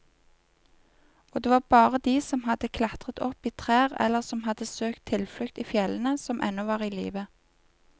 Og det var bare de som hadde klatret opp i trær eller som hadde søkt tilflukt i fjellene, som ennå var i live.